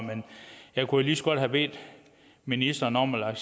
jeg kunne jo lige så godt have bedt ministeren om at